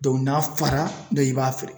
n'a fara, i b'a feere.